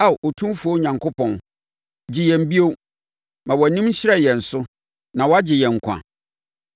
Ao Otumfoɔ Onyankopɔn, gye yɛn bio; ma wʼanim nhyerɛn yɛn so, na wɔagye yɛn nkwa.